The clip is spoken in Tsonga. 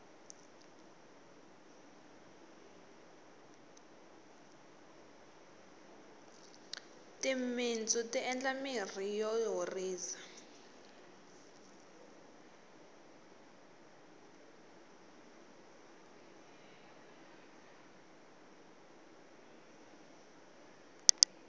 timintsu ti endla mirhi yo horisa